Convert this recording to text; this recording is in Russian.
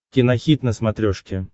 кинохит на смотрешке